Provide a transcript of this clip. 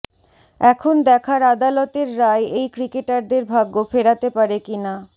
এখন দেখার আদালতের রায় এই ক্রিকেটারদের ভাগ্য ফেরাতে পারে কিনা